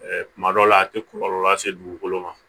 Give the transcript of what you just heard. Kuma dɔw la a tɛ kɔlɔlɔ lase dugukolo ma